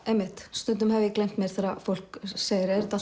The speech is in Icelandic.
stundum hef ég gleymt mér þegar fólk segir er þetta